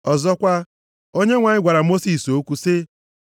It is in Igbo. Ọzọkwa, Onyenwe anyị gwara Mosis okwu sị,